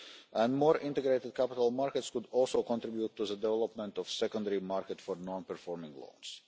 And more integrated capital markets would also contribute to the development of a secondary market for non performing